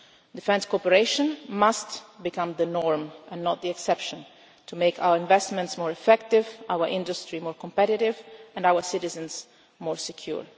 Defence cooperation must become the norm, and not the exception, to make our investments more effective, our industry more competitive, and our citizens more secure.